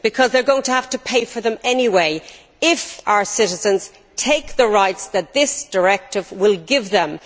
They are going to have to pay for them anyway if our citizens take up the rights that this directive will give them.